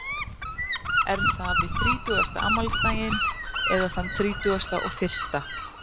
Er það við þrítugasta afmælisdaginn eða þann þrítugasta og fyrsta?